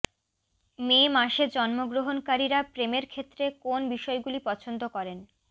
মে মাসে জন্মগ্রহণকারীরা প্রেমের ক্ষেত্রে কোন বিষয়গুলি পছন্দ করেন